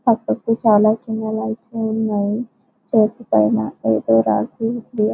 పక్కకి చాలా చిన్న లైట్స్ ఉన్నాయి చర్చి పైన ఏదో రాసి ఉంది.